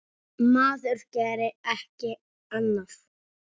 Maður gerir ekki annað!